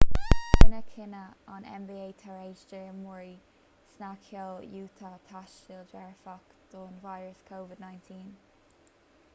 rinneadh cinneadh an nba tar éis d'imreoir snagcheoil utah tástáil dearfach don víreas covid-19